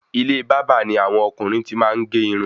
Ilé bàbá ni àwọn ọkùnrin tí maá ge irun